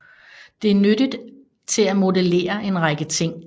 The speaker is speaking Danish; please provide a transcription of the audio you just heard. Det er nyttigt til at modellere en række ting